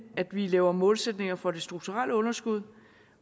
at vi laver målsætninger for det strukturelle underskud